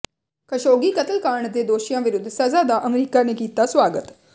Khashoggi ਕਤਲਕਾਂਡ ਦੇ ਦੋਸ਼ੀਆਂ ਵਿਰੁੱਧ ਸਜ਼ਾ ਦਾ ਅਮਰੀਕਾ ਨੇ ਕੀਤਾ ਸਵਾਗਤ